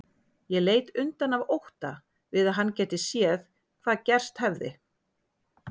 Ég leit undan af ótta við að hann gæti séð hvað gerst hefði.